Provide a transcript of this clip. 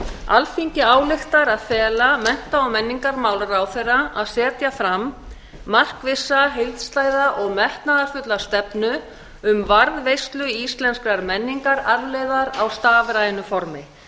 alþingi ályktar að fela mennta og menningarmálaráðherra að setja fram markvissa heildstæða og metnaðarfulla stefnu um varðveislu íslenskrar menningararfleifðar á stafrænu formi